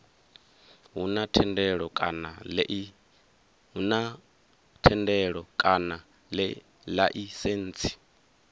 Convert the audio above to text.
hu na thendelo kana laisentsi